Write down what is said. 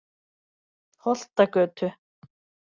Holtagötu